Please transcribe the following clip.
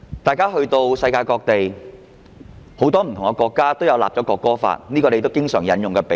大家提到世界各地很多不同國家也有制定國歌法，這是他們經常引用的比喻。